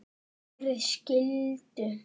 Gerið skyldu yðar!